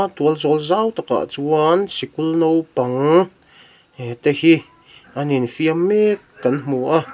tualzawl zau takah chuan sikul naupang eh te hi an infiam mek kan hmu a--